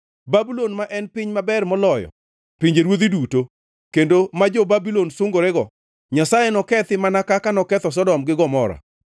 Babulon ma en piny maber moloyo pinjeruodhi duto, kendo ma jo-Babulon sungerego, Nyasaye nokethi mana kaka noketho Sodom gi Gomora.